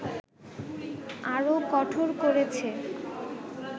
আরও কঠোর করেছে